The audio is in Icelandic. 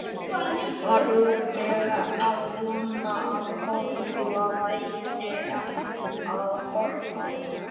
Var örugglega að vona að Kolla væri að horfa.